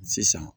Sisan